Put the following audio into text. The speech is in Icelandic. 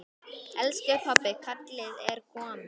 Elsku pabbi, kallið er komið.